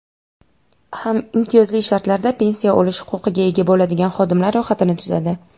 ham imtiyozli shartlarda pensiya olish huquqiga ega bo‘ladigan xodimlar ro‘yxatini tuzadi.